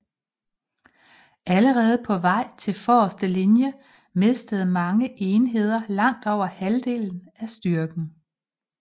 Allerede på vej til forreste linje mistede mange enheder langt over halvdelen af styrken